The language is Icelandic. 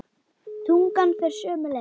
Tungan fer sömu leið.